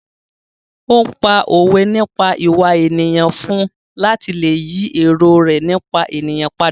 Ó pá òwe nípa ìwà ènìyàn fún un láti lè yí èrò rẹ nípa ènìyàn padà.